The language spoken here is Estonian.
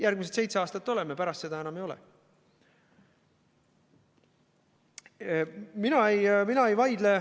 Järgmised seitse aastat oleme, pärast seda enam ei ole.